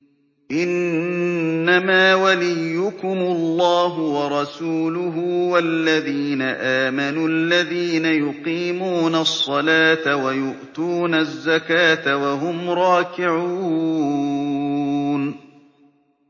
إِنَّمَا وَلِيُّكُمُ اللَّهُ وَرَسُولُهُ وَالَّذِينَ آمَنُوا الَّذِينَ يُقِيمُونَ الصَّلَاةَ وَيُؤْتُونَ الزَّكَاةَ وَهُمْ رَاكِعُونَ